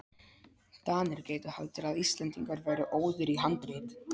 DANIR gætu haldið að Íslendingar væru óðir í handrit.